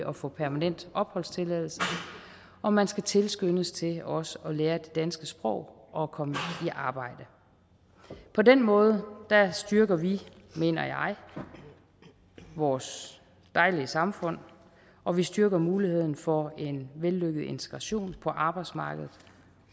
at få permanent opholdstilladelse og man skal tilskyndes til også at lære det danske sprog og at komme i arbejde på den måde styrker vi mener jeg vores dejlige samfund og vi styrker muligheden for en vellykket integration på arbejdsmarkedet